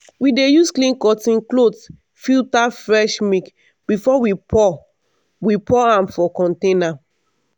we dey use clean cotton cloth filter fresh milk before we pour we pour am for container.